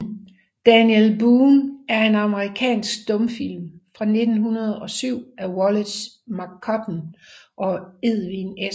Daniel Boone er en amerikansk stumfilm fra 1907 af Wallace McCutcheon og Edwin S